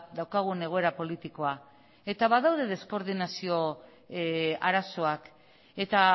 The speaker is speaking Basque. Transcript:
daukagun egoera politikoa eta badaude deskoordinazio arazoak eta